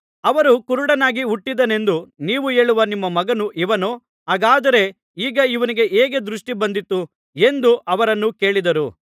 ಅವರು ಕುರುಡನಾಗಿ ಹುಟ್ಟಿದನೆಂದು ನೀವು ಹೇಳುವ ನಿಮ್ಮ ಮಗನು ಇವನೋ ಹಾಗಾದರೆ ಈಗ ಇವನಿಗೆ ಹೇಗೆ ದೃಷ್ಟಿ ಬಂದಿತು ಎಂದು ಅವರನ್ನು ಕೇಳಿದರು